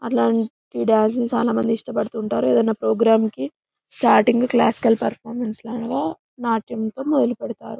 అట్లాంటి డాంసు లూ చాలా మంది ఇష్టం పడుతూ ఉంటారు ఏదన్నా ప్రోగ్రాం కి స్టార్టింగ్ క్లాస్ కి వెళ్తారు నాట్యం తో మొదలు పెడ్తారు.